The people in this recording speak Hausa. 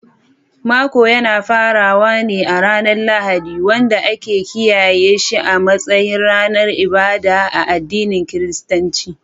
Makon yana farawa ne a ranar Lahadi, wanda ake kiyaye shi a matsayin ranar ibada a addinin Kiristanci.